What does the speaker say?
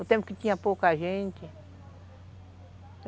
No tempo que tinha pouca gente.